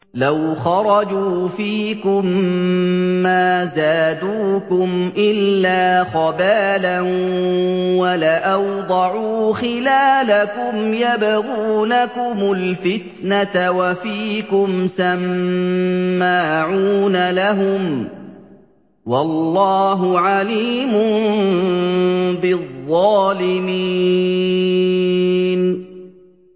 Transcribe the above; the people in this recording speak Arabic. لَوْ خَرَجُوا فِيكُم مَّا زَادُوكُمْ إِلَّا خَبَالًا وَلَأَوْضَعُوا خِلَالَكُمْ يَبْغُونَكُمُ الْفِتْنَةَ وَفِيكُمْ سَمَّاعُونَ لَهُمْ ۗ وَاللَّهُ عَلِيمٌ بِالظَّالِمِينَ